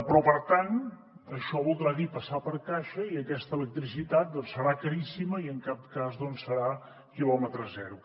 però per tant això voldrà dir passar per caixa i aquesta electricitat doncs serà caríssima i en cap cas serà quilòmetre zero